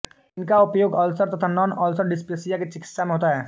इनका उपयोग अल्सर तथा नॉन अल्सर डिस्पेप्सिया की चिकित्सा में होता है